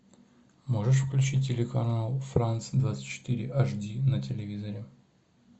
можешь включить телеканал франц двадцать четыре аш ди на телевизоре